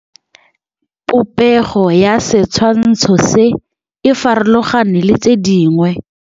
Popêgo ya setshwantshô se, e farologane le tse dingwe.